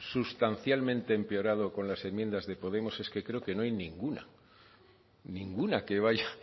sustancialmente empeorado con las enmiendas de podemos es que creo que no hay ninguna ninguna que vaya